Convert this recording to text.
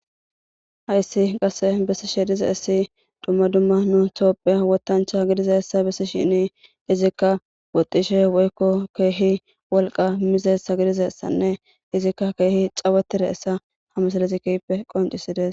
Hayisee qassi besidashe diza ise dumma dumma tophphiya wotanicha gidida asa besishin izikka wotishi woyikko keehi woliqqa miziyaga gidishin izikka keehi cawatida iza ha misile beeses.